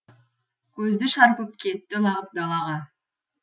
көзді шарпып кетті лағып далаға